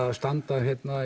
að standa